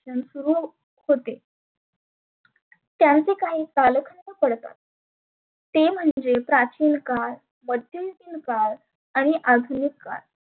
सुरु होते. त्यांचे काही कालखंड पडतात. ते म्हणजे प्राचीन काळ, मध्येयुगीन काळ, आणि आधुनीक काळ.